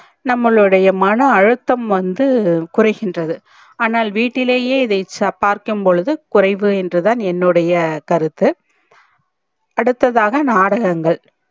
நம்பலுடைய மண அழுத்தம் வந்து குறைகின்றது ஆனால் வீட்டுலையே இதை பார்க்கும் பொழுது குறைவு என்றுதான் என்னுடைய கருத்து அடுத்ததாக நாடகங்கள்